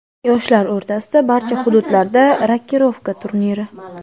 yoshlar o‘rtasida barcha hududlarda "Rokirovka" turniri;.